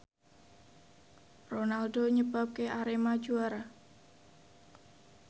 Ronaldo nyebabke Arema juara